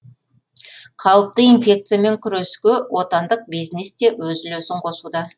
қауіпті инфекциямен күреске отандық бизнес те өз үлесін қосуда